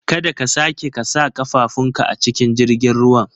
Kada ka sake ka sa ƙafafun ka a cikin jirgin ruwan